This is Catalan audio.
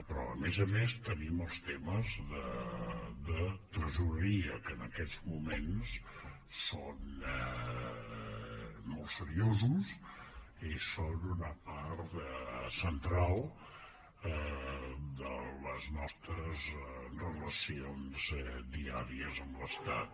però a més a més tenim els temes de tresoreria que en aquests moments són molt seriosos i són una part central de les nostres relacions diàries amb l’estat